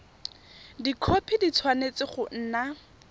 dikhopi di tshwanetse go nna